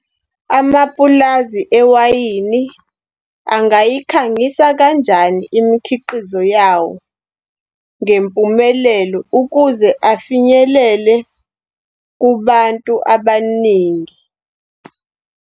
Amapulazi ewayini, angayikhangisa kanjani imikhiqizo yawo ngempumelelo ukuze afinyelele kubantu abaningi?